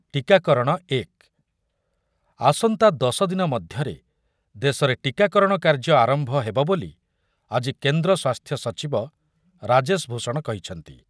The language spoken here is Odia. ଟୀକାକରଣ ଏକ, ଆସନ୍ତା ଦଶ ଦିନ ମଧ୍ୟରେ ଦେଶରେ ଟିକାକରଣ କାର୍ଯ୍ୟ ଆରମ୍ଭ ହେବ ବୋଲି ଆଜି କେନ୍ଦ୍ର ସ୍ବାସ୍ଥ୍ୟ ସଚିବ ରାଜେଶ ଭୂଷଣ କହିଛନ୍ତି ।